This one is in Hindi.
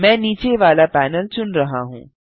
मैं नीचे वाला पैनल चुन रहा हूँ